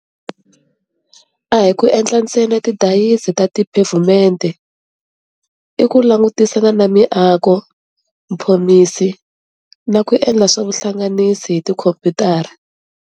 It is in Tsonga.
A hi ku endla ntsena tidizayini ta tiphevhumente. I ku langutisana na miako, mphomiso na ku endla swa vuhlanganisi hi tikhomputara.